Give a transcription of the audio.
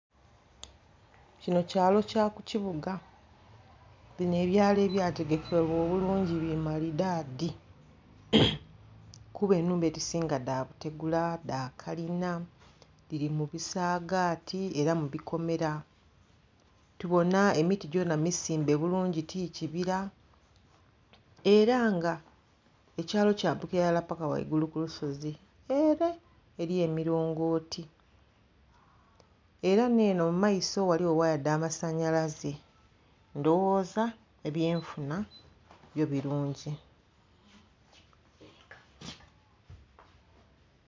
Kino kyalo kya ku kibuga bino ebyalo ebya tegekebwa bulungi bi malidaadi, kuba ennhumba edhisinga dha butegula, dha kalina, dhiri mu bisagaati era mu bikomera. Tubona emiti gyona misimbe bulungi ti kibira, era nga ekyalo kyambukira ilala paka ghaigulu ku lusozi ere eri emilongooti. Era nh'eno mu maiso ghaliyo waaya dha masanhalaze. Ndhowoza ebyenfuna byo birungi.